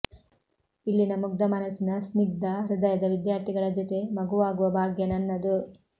ಇಲ್ಲಿನ ಮುಗ್ಧ ಮನಸ್ಸಿನ ಸ್ನಿಗ್ಧ ಹೃದಯದ ವಿದ್ಯಾರ್ಥಿಗಳ ಜೊತೆ ಮಗುವಾಗುವ ಭಾಗ್ಯ ನನ್ನದು